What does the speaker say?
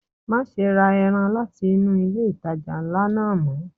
Má ṣe ra ẹran láti inú ilé ìtajà ńlá náà mọ́.